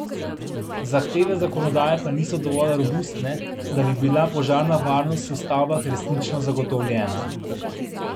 Zahteve zakonodaje pa niso dovolj robustne, da bi bila požarna varnost v stavbah resnično zagotovljena.